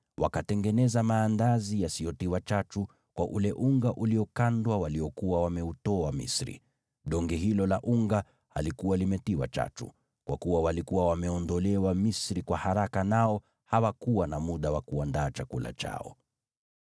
Wakatengeneza maandazi yasiyotiwa chachu kwa ule unga uliokandwa waliokuwa wameutoa Misri, donge hilo la unga halikuwa limetiwa chachu, kwa kuwa walikuwa wameondolewa Misri kwa haraka nao hawakuwa na muda wa kuandaa chakula chao.